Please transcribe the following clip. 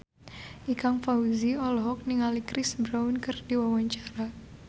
Ikang Fawzi olohok ningali Chris Brown keur diwawancara